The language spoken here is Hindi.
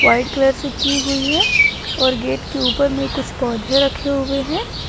व्हाइट कलर से की हुई है और गेट के ऊपर में कुछ पौधे रखे हुए हैं।